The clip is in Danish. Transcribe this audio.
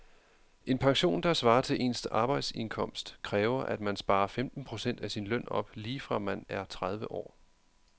En pension, der svarer til ens arbejdsindkomst, kræver at man sparer femten procent af sin løn op lige fra man er tredive år.